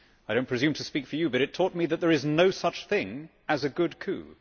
I do not presume to speak for you, but it taught me that there is no such thing as a good coup.